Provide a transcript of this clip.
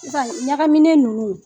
Nga ɲagaminen nunnu